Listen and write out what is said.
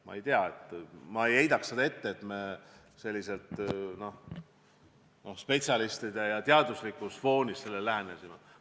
Ma ei tea, ma ei heidaks ette seda, et me sellele sedasi spetsialistide arvamusele tuginedes ja teaduslikul foonil lähenesime.